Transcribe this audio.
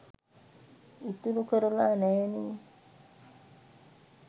ඉතුරු කරලා නැනේ.